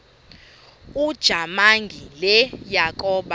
ujamangi le yakoba